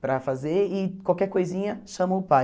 Para fazer e qualquer coisinha chama o pai.